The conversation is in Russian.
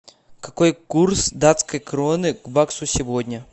какой курс датской кроны к баксу сегодня